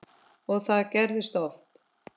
Og það gerðist oft.